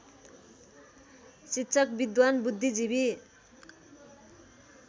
शिक्षक विद्वान बुद्धिजीवी